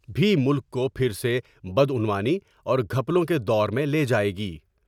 بھی ملک کو پھر سے بدعنوانی اور گھپلوں کے دور میں لے جائے گی ۔